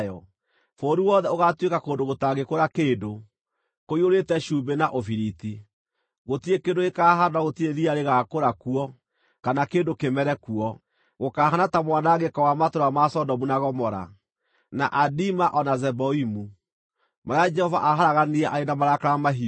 Bũrũri wothe ũgaatuĩka kũndũ gũtangĩkũra kĩndũ, kũiyũrĩte cumbĩ na ũbiriti, gũtirĩ kĩndũ gĩkahaandwo na gũtirĩ riya rĩgaakũra kuo, kana kĩndũ kĩmere kuo. Gũkahaana ta mwanangĩko wa matũũra ma Sodomu na Gomora, na Adima o na Zeboimu, marĩa Jehova aaharaganirie arĩ na marakara mahiũ.